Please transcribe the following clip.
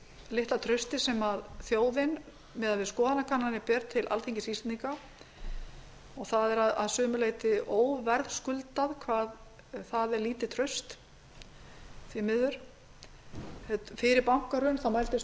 litla trausti sem þjóðin miðað við skoðanakannanir ber til alþingis íslendinga og það er að sumu leyti óverðskuldað hvað það er lítið traust því miður fyrir bankahrun mældist traust